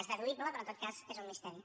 és deduïble però en tot cas és un misteri